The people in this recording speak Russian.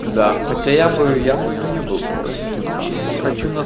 да хотя я бы я бы не был против но самом деле